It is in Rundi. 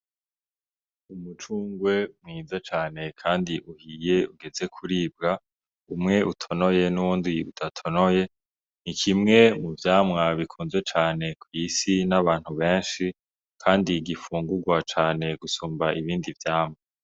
Umucungwe mwiza cane kandi uhiye ugeze kuribwa, umwe utonoye n'uwundi udatonoye, ni kimwe mu vyamwa bikunzwe cane kw'isi n'abantu benshi, kandi gifungurwa cane gusumba ibindi vyamwa.